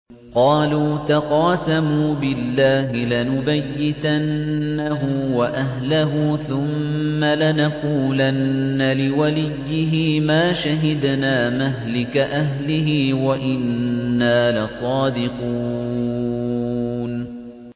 قَالُوا تَقَاسَمُوا بِاللَّهِ لَنُبَيِّتَنَّهُ وَأَهْلَهُ ثُمَّ لَنَقُولَنَّ لِوَلِيِّهِ مَا شَهِدْنَا مَهْلِكَ أَهْلِهِ وَإِنَّا لَصَادِقُونَ